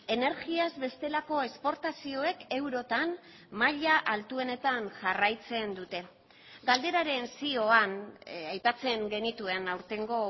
energiaz bestelako esportazioek eurotan maila altuenetan jarraitzen dute galderaren zioan aipatzen genituen aurtengo